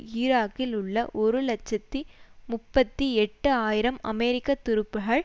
ஈராக்கில் உள்ள ஒரு இலட்சத்தி முப்பத்தி எட்டு ஆயிரம் அமெரிக்கத்துருப்புகள்